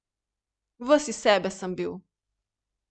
Ves iz sebe sem bil.